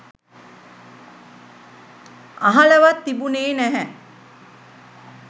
අහලවත් තිබුණේ නැහැ.